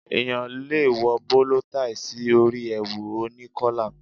Èèyàn le wọ bóló taì sí orí èwù oní kọ́là.